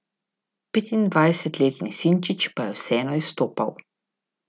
Petindvajsetletni Sinčić pa je vseeno izstopal.